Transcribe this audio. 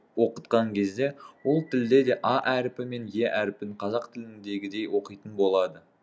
оқытқан кезде ол тілде де а әріпі пен е әріпін қазақ тіліндегідей оқитын болады